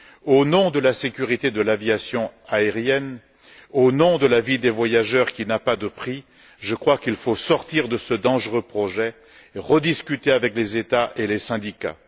Au nom de la sécurité de l'aviation aérienne, au nom de la vie des qui n'a pas de prix, je crois qu'il faut abandonner ce dangereux projet et rediscuter avec les États et les syndicats.